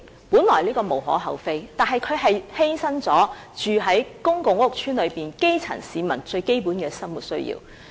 本來這是無可厚非的，但它卻犧牲了居住於公共屋邨的基層市民的最基本生活需要。